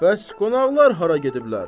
Bəs qonaqlar hara gediblər?